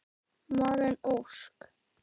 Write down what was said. Maren Ósk.